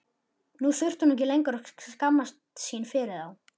Nú þurfti hún ekki lengur að skammast sín fyrir þá.